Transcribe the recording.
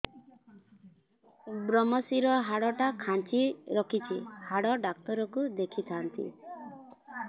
ଵ୍ରମଶିର ହାଡ଼ ଟା ଖାନ୍ଚି ରଖିଛି ହାଡ଼ ଡାକ୍ତର କୁ ଦେଖିଥାନ୍ତି